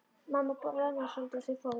Mamma roðnaði svolítið og þau fóru.